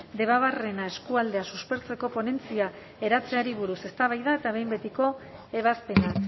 debabarrena eskualdea suspertzeko ponentzia eratzeari buruz eztabaida eta behin betiko ebazpena